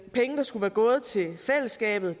penge der skulle være gået til fællesskabet